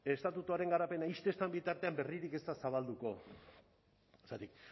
estatutuaren garapena ixten ez den bitartean berririk ez da zabalduko zergatik